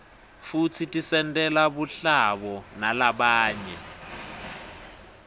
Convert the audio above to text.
futsi tisentela buhlabo nalabanye